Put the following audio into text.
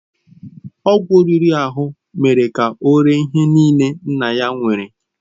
Ọgwụ riri ahụ mere ka ọ ree ihe niile nna ya nwere.